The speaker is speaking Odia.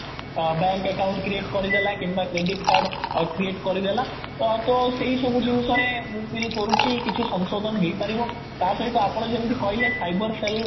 ବ୍ୟାଙ୍କ ଆକାଉଣ୍ଟ create କରିଦେଲା କିମ୍ବା କ୍ରେଡିଟ କାର୍ଡ create କରିଦେଲା ତ ଆଉ ତ ସେଇ ସବୁ ଜିନିଷ ରେ ମୁଁ feel କରୁଛି କିଛି ସଂଶୋଧନ ହେଇପାରିବ ତା ସହିତ ଆପଣ ଯେମିତି କହିଲେ ସାଇବର cell